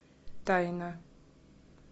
тайна